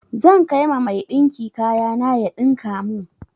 Zan kai ma mai ɗinki kaya na ya ɗinka mun.